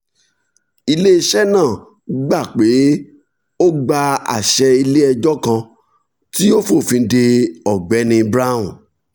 ile-iṣẹ náà gbà pé ó gba àṣẹ ilé ẹjọ́ kan tí ó fòfin de ọ̀gbẹ́ni brown